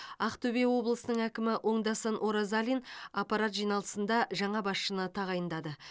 ақтөбе облысының әкімі оңдасын оразалин аппарат жиналысында жаңа басшыны тағайындады